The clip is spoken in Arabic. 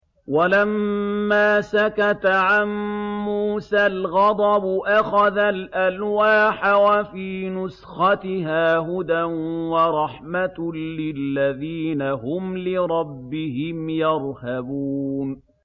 وَلَمَّا سَكَتَ عَن مُّوسَى الْغَضَبُ أَخَذَ الْأَلْوَاحَ ۖ وَفِي نُسْخَتِهَا هُدًى وَرَحْمَةٌ لِّلَّذِينَ هُمْ لِرَبِّهِمْ يَرْهَبُونَ